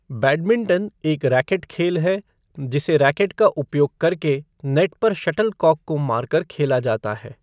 Badminton एक racket खेल है जिसे रैकेट का उपयोग करके नेट पर शटलकॉक को मार कर खेला जाता है।